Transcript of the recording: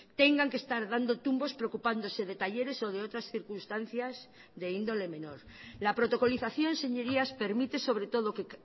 tengan que estar dando tumbos preocupándose de talleres o de otras circunstancias de índole menor la protocolización señorías permite sobre todo que